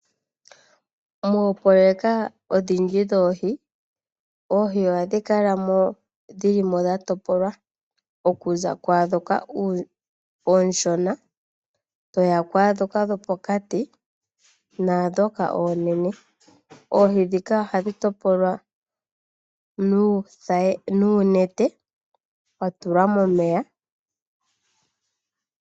Moopololeka odhindji dhoohi ohadhi kalamo dhilimo dhatopolwa okuza kwaadhoka ooshona toya kwaadhoka dhopokati naadhoka oonene. Oohi dhika ohadhi topolwa nuunete watulwa momeya.